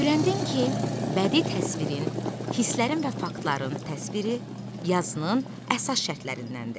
Öyrəndin ki, bədii təsvirin, hisslərin və faktların təsviri yazının əsas şərtlərindəndir.